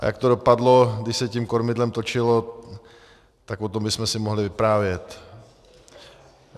A jak to dopadlo, když se tím kormidlem točilo, tak o tom bychom si mohli vyprávět.